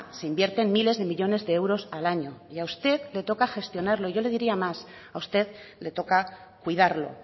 se invierten miles de millónes de euros al año y a usted le toca gestionarlo yo le diría más a usted le toca cuidarlo